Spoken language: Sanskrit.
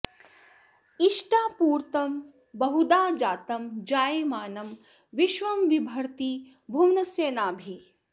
इ॒ष्टा॒पू॒र्तं ब॑हु॒धा जा॒तं जाय॑मानं वि॒श्वं बि॑भर्ति॒ भुव॑नस्य॒ नाभिः॑